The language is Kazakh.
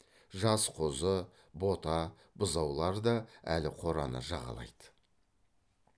жас қозы бота бұзаулар да әлі қораны жағалайды